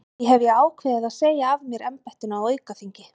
Því hef ég ákveðið að segja af mér embættinu á aukaþingi.